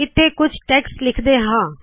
ਇੱਥੇ ਕੁਛ ਟੇਕਸਟ੍ ਲਿਖਦੇ ਹਾ